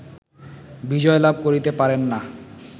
বিজয়লাভ করিতে পারেন না